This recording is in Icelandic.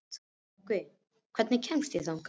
Nökkvi, hvernig kemst ég þangað?